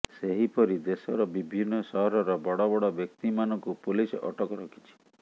ସେହିପରି ଦେଶର ବିଭିନ୍ନ ସହରର ବଡ଼ ବଡ଼ ବ୍ୟକ୍ତିମାନଙ୍କୁ ପୋଲିସ ଅଟକ ରଖିଛି